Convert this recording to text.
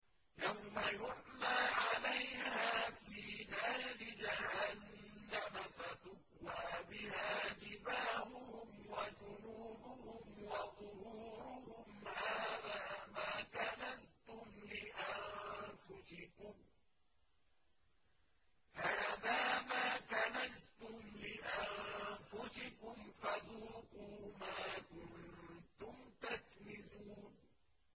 يَوْمَ يُحْمَىٰ عَلَيْهَا فِي نَارِ جَهَنَّمَ فَتُكْوَىٰ بِهَا جِبَاهُهُمْ وَجُنُوبُهُمْ وَظُهُورُهُمْ ۖ هَٰذَا مَا كَنَزْتُمْ لِأَنفُسِكُمْ فَذُوقُوا مَا كُنتُمْ تَكْنِزُونَ